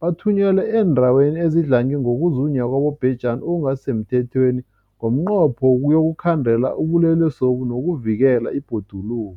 bathunyelwa eendaweni ezidlange ngokuzunywa kwabobhejani okungasi semthethweni ngomnqopho wokuyokukhandela ubulelesobu nokuvikela ibhoduluko.